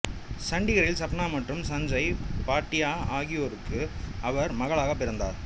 சண்டிகரில் சப்னா மற்றும் சஞ்சய் பாட்டியா ஆகியோருக்கு அவர் மகளாக பிறந்தார்